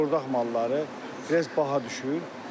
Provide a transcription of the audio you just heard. Bordaq malları biraz baha düşür.